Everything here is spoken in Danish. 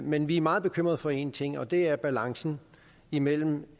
men vi er meget bekymret for én ting og det er balancen imellem